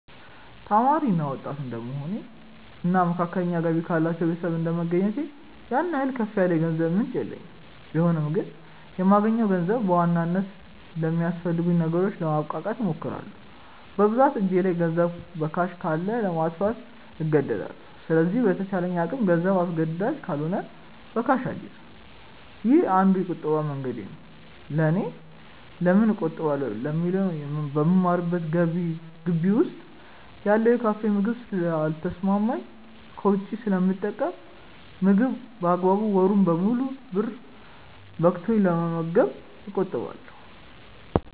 ተማሪ እና ወጣት እድንደመሆኔ እና መካከለኛ ገቢ ካላቸው ቤተሰብ እንደመገኘቴ ያን ያህል ከፍ ያለ የገንዘብ ምንጭ የለኝም ቢሆንም ግን የማገኘውን ገንዘብ በዋናነት ለሚያስፈልጉኝ ነገሮች ለማብቃቃት እሞክራለው። በብዛት እጄ ላይ ገንዘብ በካሽ ካለ ለማጥፋት እንደዳለው ስለዚህ በተቻለ አቅም ገንዘብ አስገዳጅ ካልሆነ በካሽ አልይዝም። ይህ አንዱ የቁጠባ መንገዴ ነው ለኔ። ለምን እቆጥባለው ለሚለው በምማርበት ግቢ ውስጥ ያለው የካፌ ምግብ ስለ ልተሰማማኝ ከውጪ ስለምጠቀም ምግብ በአግባቡ ወሩን ሙሉ ብር በቅቶኝ ለመመገብ እቆጥባለው።